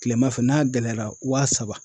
Kilema fɛ n'a gɛlɛyara wa saba.